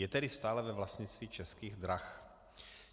Je tedy stále ve vlastnictví Českých drah.